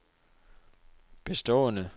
bestående